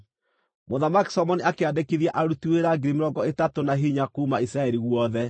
Mũthamaki Solomoni akĩandĩkithia aruti wĩra 30,000 na hinya kuuma Isiraeli guothe.